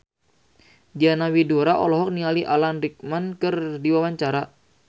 Diana Widoera olohok ningali Alan Rickman keur diwawancara